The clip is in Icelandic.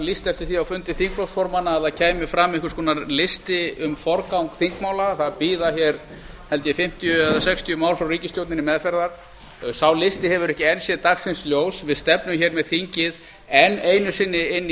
lýst eftir því á fundi þingflokksformanna að það kæmi fram einhvers konar listi um forgang þingmála það bíða ein fimmtíu eða sextíu mál frá ríkisstjórninni meðferðar sá listi hefur ekki enn séð dagsins ljós við stefnum með þingið enn einu sinni inn